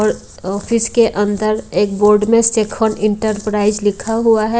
और ऑफिस के अंदर एक बोर्ड में शेखर एंटरप्राइज लिखा हुआ है।